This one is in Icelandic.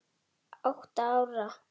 Átta ára.